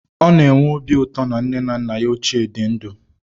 Ọ na-enwe obi ụtọ na nne na nna ya ochie dị ndụ